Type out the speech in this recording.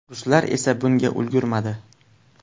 Ruslar esa bunga ulgurmadi.